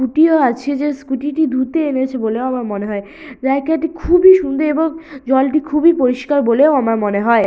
Scooty ও আছে যে স্কুটি টি ধুতে এনেছে বলে আমার মনে হয় জায়গাটি খুবই সুন্দর এবং জলটি খুবই পরিষ্কার বলেও আমার মনে হয়।